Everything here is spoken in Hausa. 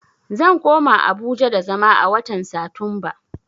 Zan koma Abuja da zama a watan Satumba